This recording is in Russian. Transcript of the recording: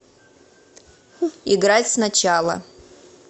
играть сначала